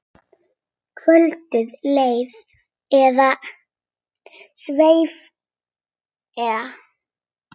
Kvöldið leið eða sveif eða.